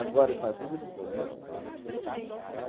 Agora eu falo, tudo de bom, né?